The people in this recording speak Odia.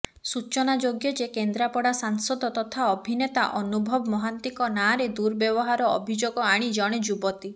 ସୂଚନାଯୋଗ୍ୟ ଯେ କେନ୍ଦ୍ରାପଡା ସାଂସଦ ତଥା ଅଭିନେତା ଅନୁଭବ ମହାନ୍ତିଙ୍କ ନାଁରେ ଦୁର୍ବ୍ୟବହାର ଅଭିଯୋଗ ଆଣି ଜଣେ ଯୁବତୀ